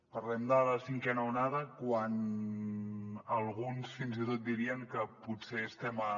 parlem de la cinquena onada quan alguns fins i tot dirien que potser estem a